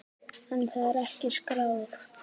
En það er ekki skráð.